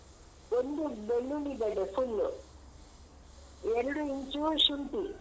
ಒಂದು ಬೆಳ್ಳುಳ್ಳಿ ಗೆಡ್ಡೆ full ಎರಡು ಇಂಚು ಶುಂಠಿ.